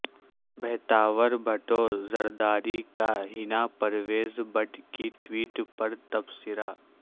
بحتاور بھٹو زرداری کا حنا پرویز بٹ کی ٹویٹ پر تبصرہ